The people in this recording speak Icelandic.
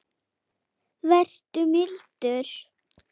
Vertu mildur.